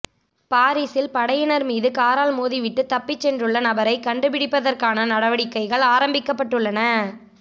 பாரிசில் படையினர் மீது காரால் மோதி விட்டு தப்பிச் சென்றுள்ள நபரை கண்டுபிடிப்பதற்கான நடவடிக்கைகள் ஆரம்பிக்கப்பட்டுள்ளன